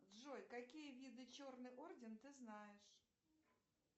джой какие виды черный орден ты знаешь